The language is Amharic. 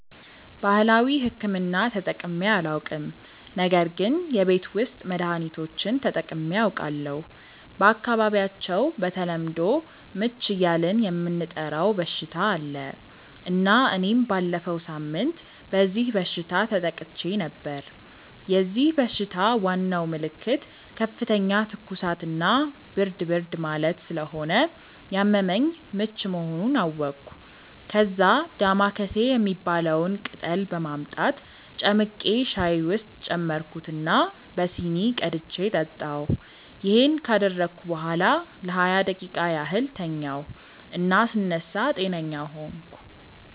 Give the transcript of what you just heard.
ባህላዊ ሕክምና ተጠቅሜ አላውቅም ነገር ግን የቤት ውስጥ መድሀኒቶችን ተጠቅሜ አውቃለሁ። በአካባቢያቸው በተለምዶ "ምች" እያልን የምንጠራው በሽታ አለ እና እኔም ባለፈው ሳምንት በዚህ በሽታ ተጠቅቼ ነበር። የዚህ በሽታ ዋናው ምልክት ከፍተኛ ትኩሳት እና ብርድ ብርድ ማለት ስለሆነ ያመመኝ ምች መሆኑን አወቅኩ። ከዛ "ዳማከሴ" የሚባለውን ቅጠል በማምጣት ጨምቄ ሻይ ውስጥ ጨመርኩት እና በሲኒ ቀድቼ ጠጣሁ። ይሄን ካደረግኩ በኋላ ለሃያ ደቂቃ ያህል ተኛሁ እና ስነሳ ጤነኛ ሆንኩ።